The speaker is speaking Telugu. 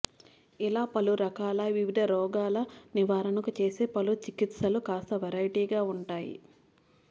ఇలా పలురకాల వివిధ రోగాల నివారణకు చేసే పలు చికిత్సలు కాస్త వెరైటీగా ఉంటాయి